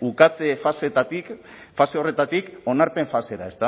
ukatze faseetatik fase horretatik onarpen fasera